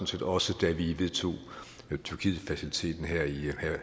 set også da vi vedtog tyrkietfaciliteten